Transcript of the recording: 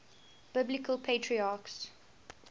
biblical patriarchs